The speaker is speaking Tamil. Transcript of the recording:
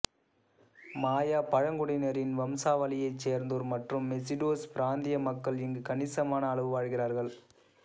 மாயா பழங்குடியினரின் வம்சாவளியைச் சேர்ந்தோர் மற்றும் மெசிடோஸ் பிராந்திய மக்கள் இங்கு கணிசமான அளவு வாழ்கிறார்கள்